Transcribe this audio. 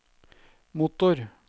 motor